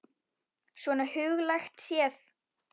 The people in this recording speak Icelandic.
Svona huglægt séð.